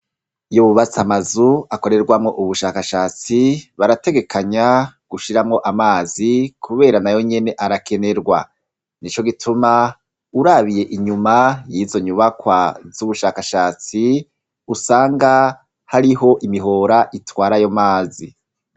Iyo bubatsi amazu akorerwamwo ubushakashatsi barategekanya gushiramwo amazi, kubera na yo nyene arakenerwa ni co gituma urabiye inyuma yizo nyubakwa z'ubushakashatsi usanga hariho imihora itwara ayo mazi.